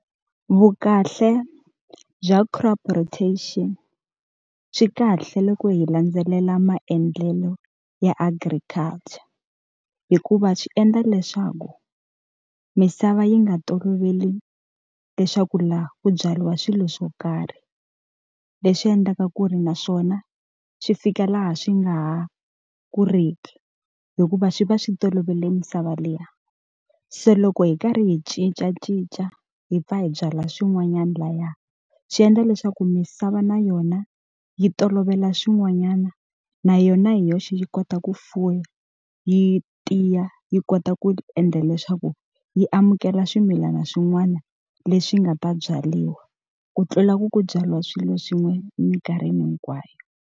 Vukahle bya crop rotation. Swi kahle loko hi landzelela maendlelo ya agriculture, hikuva swi endla leswaku misava yi nga toloveli leswaku laha ku byariwa swilo swo karhi. Leswi endlaka ku ri naswona swi fika laha swi nga ha kuliki hikuva swi va swi tolovele misava liya. Se loko hi karhi hi cincacinca hi pfa hi byala swin'wanyana lahaya, swi endla leswaku misava na yona yi tolovela swin'wanyana na yona hi yoxe yi kota ku fuwa, yi tiya, yi kota ku endla leswaku yi amukela swimilana swin'wana leswi nga ta byariwa. Ku tlula ku ku byariwa swilo swin'we e mikarhi hinkwayo.